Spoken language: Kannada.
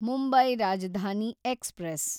ಮುಂಬೈ ರಾಜಧಾನಿ ಎಕ್ಸ್‌ಪ್ರೆಸ್